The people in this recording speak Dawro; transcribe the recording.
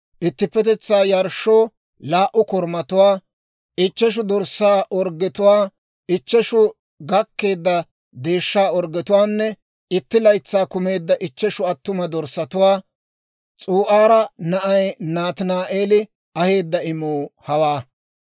ittippetetsaa yarshshoo laa"u korumatuwaa, ichcheshu dorssaa orggetuwaa, ichcheshu gakkeedda deeshshaa orggetuwaanne itti laytsay kumeedda ichcheshu attuma dorssatuwaa. S'u'aara na'ay Nataani'eeli aheedda imuu hawaa.